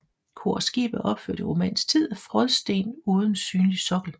Kor og skib er opført i romansk tid af frådsten uden synlig sokkel